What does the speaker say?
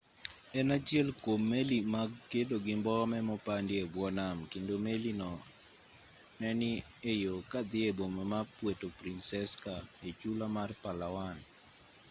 en achiel kwom meli mag kedo gi mbome mopandi e bwo nam kendo meli no ne ni e yo ka odhi e boma ma puerto princesa e chula mar palawan